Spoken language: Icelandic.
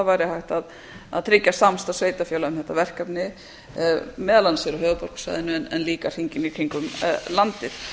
væri hægt að tryggja samstarf sveitarfélaga um þetta verkefni meðal annars hér á höfuðborgarsvæðinu en líka hringinn í kringum landið